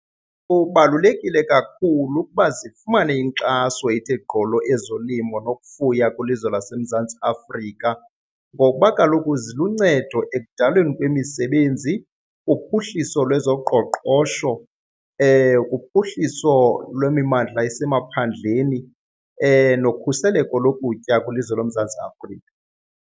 Kubalulekile kakhulu ukuba zifumane inkxaso ethe gqolo ezolimo nokufuya kwilizwe laseMzantsi Afrika ngokuba kaloku ziluncedo ekudalweni kwemisebenzi, kuphuhliso lwezoqoqosho, kuphuhliso lwemimandla esemaphandleni nokhuseleko lokutya kwilizwe loMzantsi Afrika.